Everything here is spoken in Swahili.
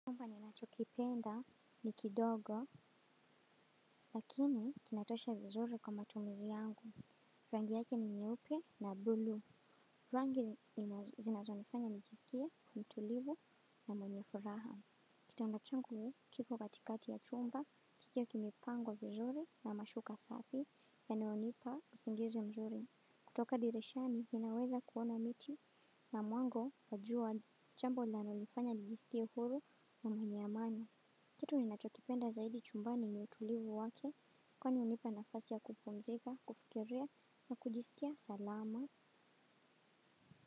Chumba ni nacho kipenda ni kidogo, lakini kinatosha vizuri kwa matumizi yangu. Rangi yake ni nyeupe na bluu. Rangi zinazo nifanya nijisikie mtulivu na mwenye furaha. Kitanda changu kipo katikati ya chumba, kikiwa kimepangwa vizuri na mashuka safi ya nayo nipa usingizi mzuri. Kutoka dirishani, ninaweza kuona miti na mwango wa jua jambo linalo nifanya nijisikie huru na mwenye amani. Kitu ni nacho kipenda zaidi chumbani ni utulivu wake kwani hunipa nafasi ya kupumzika kufikiria na kujiskia salama.